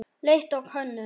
Leit og könnun